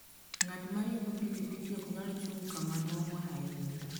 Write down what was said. Ng'at ma riembo pikipiki ok nyal chung' kama duong' ahinya.